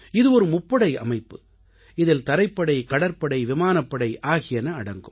இது ஒரு முப்படை அமைப்பு இதில் தரைப்படை கடற்படை விமானப்படை ஆகியன அடங்கும்